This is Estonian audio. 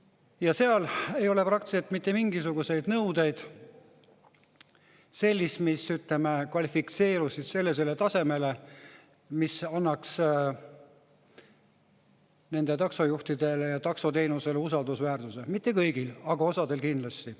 Ja seal ei ole praktiliselt mitte mingisuguseid selliseid nõudeid, mis, ütleme, kvalifitseeruksid sellisele tasemele, mis annaks nendele taksojuhtidele ja taksoteenusele usaldusväärsuse – mitte kõigile, aga osale kindlasti.